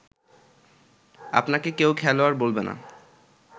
আপনাকে কেউ খেলোয়াড় বলবে না